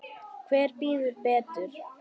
Hver bíður betur?